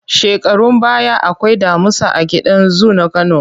Shekarun baya akwai damusa a gidan zu na Kano.